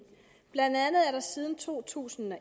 blandt andet er der siden to tusind og